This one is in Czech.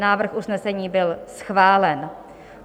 Návrh usnesení byl schválen.